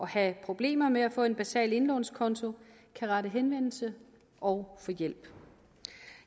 have problemer med at få en basal indlånskonto kan rette henvendelse og få hjælp